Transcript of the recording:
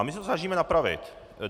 A my se to snažíme napravit.